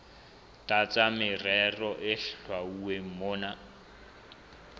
tlasa merero e hlwauweng mona